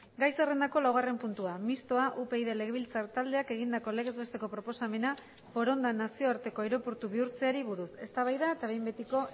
gai zerrendako laugarren puntua mistoa upyd legebiltzar taldeak egindako legez besteko proposamena foronda nazioarteko aireportu bihurtzeari buruz eztabaida eta behin betiko